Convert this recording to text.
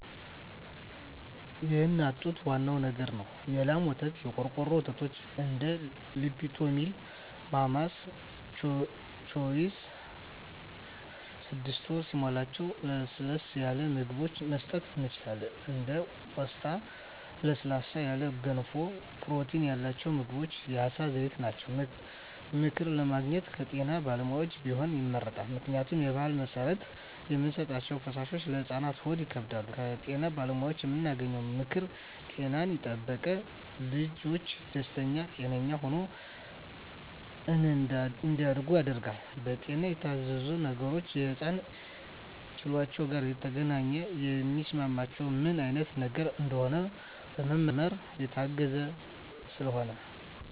የእናት ጡት ዋናው ነገር ነው የላም ወተት , የቆርቆሮ ወተቶች እንደ ሊፕቶሚል ማማስ ቾይዥ ስድስት ወር ሲሞላቸው ለስለስ ያሉ ምግብችን መስጠት እንችላለን እንደ ቆስጣ ለስለስ ያሉ ገንፎ ፕሮቲን ያላቸው ምግቦች የአሳ ዘይት ናቸው። ምክር ለማግኘት ከጤና ባለሙያዎች ቢሆን ይመረጣል ምክንያቱም በባህል መሰረት የምንሰጣቸዉ ፈሳሾች ለህፃናት ሆድ ይከብዳቸዋል። ከጤና ባለሙያዎች የምናገኘው ምክር ጤናን የጠበቀ ልጅች ደስተኛ ጤነኛ ሆነው እንዳድጉ ያደርጋል። በጤና የታዘዙ ነገሮች ከህፃናት ኪሏቸው ጋር የተገናኘ የሚስማማቸው ምን አይነት ነገር እንደሆነ በምርመራ የታገዘ ስለሆነ